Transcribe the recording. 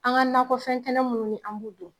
An ga nakɔfɛn kɛnɛ mun ni an b'u dun